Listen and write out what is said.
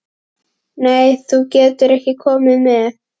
Nei, þú getur ekki komið með.